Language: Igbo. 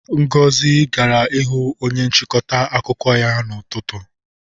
Ngozi gara ịhụ onye nchịkọta akụkọ ya n'ụtụtụ.